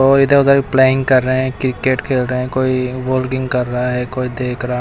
और इधर-उधर प्लेइंग कर रहे हैं क्रिकेट खेल रहे हैं कोई बोलिंग कर रहा है कोई देख र --